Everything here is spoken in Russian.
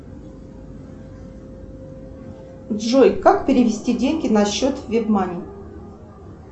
джой как перевести деньги на счет вебмани